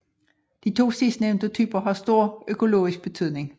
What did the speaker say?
De to sidstnævnte typer har stor økologisk betydning